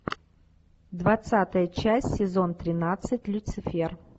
двадцатая часть сезон тринадцать люцифер